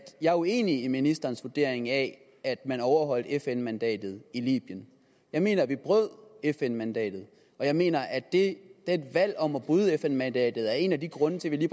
jeg er uenig i ministerens vurdering af at man overholdt fn mandatet i libyen jeg mener at vi brød fn mandatet og jeg mener at det valg om at bryde fn mandatet er en af de grunde til at vi